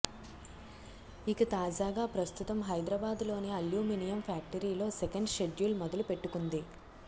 ఇక తాజాగా ప్రస్తుతం హైదరాబాద్ లోని అల్యూమినియం ఫ్యాక్టరీ లో సెకండ్ షెడ్యూల్ మొదలు పెట్టుకుంది